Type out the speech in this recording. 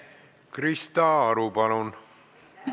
Krista Aru, palun!